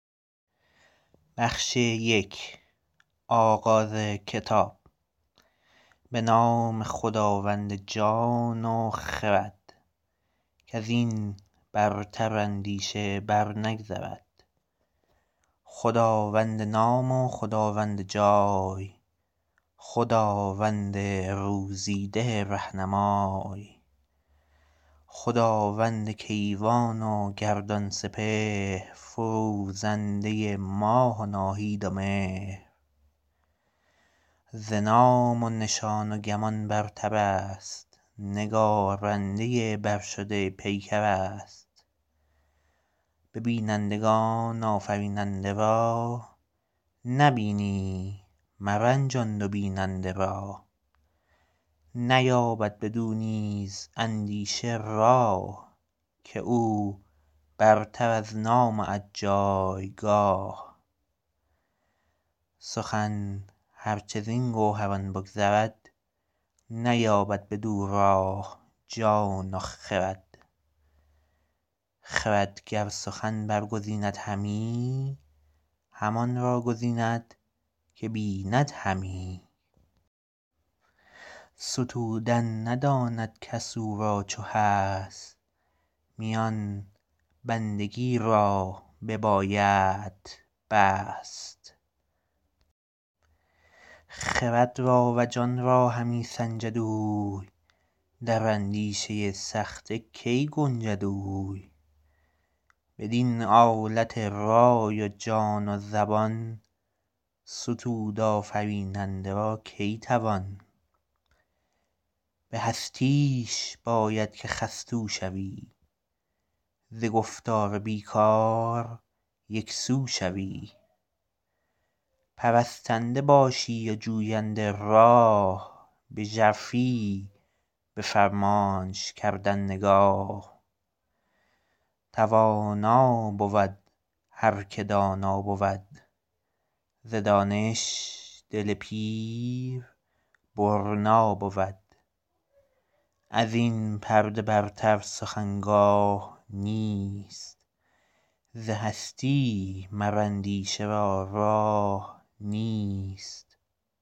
به نام خداوند جان و خرد کز این برتر اندیشه بر نگذرد خداوند نام و خداوند جای خداوند روزی ده رهنمای خداوند کیوان و گردان سپهر فروزنده ماه و ناهید و مهر ز نام و نشان و گمان برتر است نگارنده برشده پیکر است به بینندگان آفریننده را نبینی مرنجان دو بیننده را نیابد بدو نیز اندیشه راه که او برتر از نام و از جایگاه سخن هر چه زین گوهران بگذرد نیابد بدو راه جان و خرد خرد گر سخن برگزیند همی همان را گزیند که بیند همی ستودن نداند کس او را چو هست میان بندگی را ببایدت بست خرد را و جان را همی سنجد اوی در اندیشه سخته کی گنجد اوی بدین آلت رای و جان و زبان ستود آفریننده را کی توان به هستیش باید که خستو شوی ز گفتار بی کار یکسو شوی پرستنده باشی و جوینده راه به ژرفی به فرمانش کردن نگاه توانا بود هر که دانا بود ز دانش دل پیر برنا بود از این پرده برتر سخن گاه نیست ز هستی مر اندیشه را راه نیست